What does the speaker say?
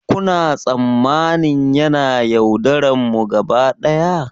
Kuna tsammanin yana yaudararmu gaba daya?